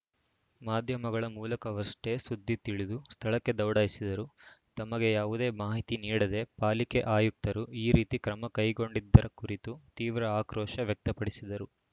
ಮಾಧ್ಯಮಗಳ ಮೂಲಕವಷ್ಟೇ ಸುದ್ದಿ ತಿಳಿದು ಸ್ಥಳಕ್ಕೆ ದೌಡಾಯಿಸಿದರು ತಮಗೆ ಯಾವುದೇ ಮಾಹಿತಿ ನೀಡದೆ ಪಾಲಿಕೆ ಆಯುಕ್ತರು ಈ ರೀತಿ ಕ್ರಮ ಕೈಗೊಂಡಿದ್ದರ ಕುರಿತು ತೀವ್ರ ಆಕ್ರೋಶ ವ್ಯಕ್ತಪಡಿಸಿದರು